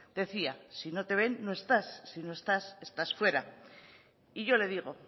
decía si no te ven no estás si no estás estás fuera y yo le digo